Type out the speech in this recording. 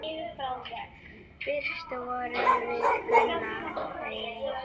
Fyrst vorum við Gunna eins.